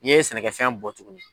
N ye sɛnɛkɛ fɛn bɔ tugun.